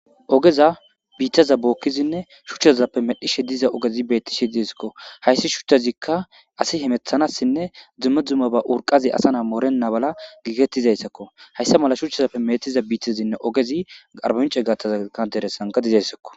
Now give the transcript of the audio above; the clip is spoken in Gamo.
Ogeza biitaza bookkizinne shuchchazappe medhishe diza ogezi bettishe diesakko hayssi shuthezikka asi hemethanassinne zumme dzuma ba urqazi asa na morena bala giigettizayssakko hayssa mala shuchchazappe metiza biitezinne ogezi arbnce gatazaka deresanka dizayssakko.